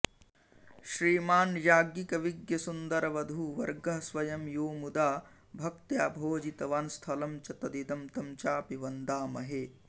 श्रीमान्याज्ञिकविज्ञसुन्दरवधूवर्गः स्वयं यो मुदा भक्त्या भोजितवान् स्थलं च तदिदं तं चापि वन्दामहे